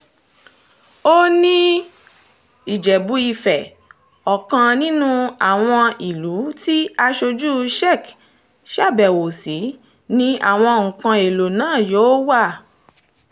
ó ní ìjẹ́bú-ìfẹ́ ọkàn nínú àwọn ìlú tí aṣojú czech ṣàbẹ̀wò sí ni àwọn nǹkan èèlò náà yóò wà